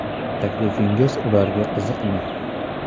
Taklifingiz ularga qiziqmi?